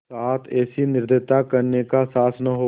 साथ ऐसी निर्दयता करने का साहस न हो